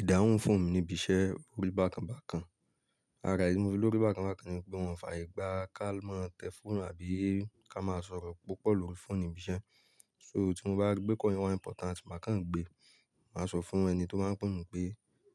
Ìdáhùn fóònù mi níbi iṣẹ́ oórí bákan bákan. Rárá, èyí tí mo ṣe lórí bákan bákan ni pé òun fààyè gba ká máa tẹ fóònù àbí ká máa sọ̀rọ̀ púpọ̀ lórí fóònù nibi iṣẹ́. So tí mo bá rí pé call yẹn wa important máa kán gbé. Màá sọ fún ẹni tó báa ń pè mi pé,